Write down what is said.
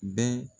Bɛɛ